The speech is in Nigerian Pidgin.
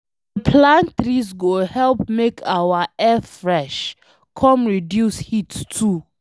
To dey plant trees go help make our air fresh, come reduce heat too